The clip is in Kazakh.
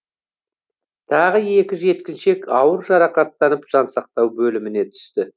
тағы екі жеткіншек ауыр жарақаттанып жансақтау бөліміне түсті